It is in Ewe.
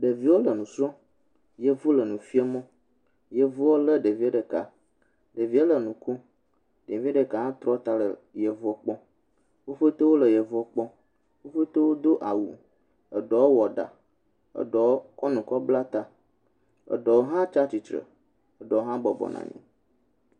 Ɖeviwo le nu srɔm. yevu le nufia mo. Yavua le ɖevia ɖeka, ɖevia le nu kom, ɖevi ɖeka hã trɔ ta le yevu kpɔm. wo ƒete wole yevua kplɔm, wo ƒete wo do awu, eɖewo wɔ ɖa, eɖewo kɔ nu kɔ bla ta, eɖewo hã tsia tsitre, eɖewo hã bɔbɔ nɔanyi.